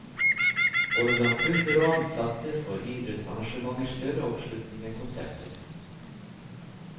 Både blant kunder og ansatte, får idrettsarrangementer større oppslutning enn konserter.